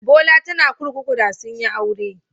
Bola tana kurkuku da sun yi aure.